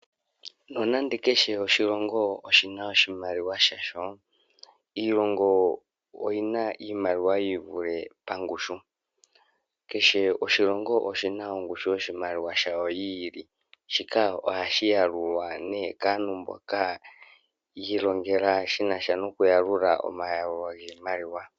Nonando kehe oshilongo oshina iimaliwa yasho iilongo oyina iimaliwa yi ivule pangushu shika ohashi yalulwa nee kaantu mboka yi ilongela shinasha noku yalula omayalulo giimaliwa.